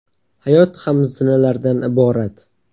Hayot ham zinalardan iborat.